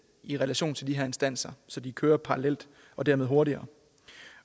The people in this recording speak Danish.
i relation til de her instanser så de kører parallelt og dermed hurtigere